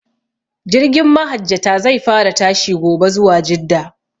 Jirgin mahajjata zai fara tashi gobe zuwa jidda